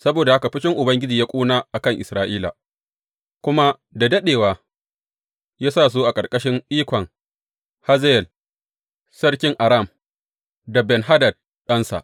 Saboda haka fushin Ubangiji ya ƙuna a kan Isra’ila, kuma da daɗewa ya sa su a ƙarƙashin ikon Hazayel sarkin Aram da Ben Hadad ɗansa.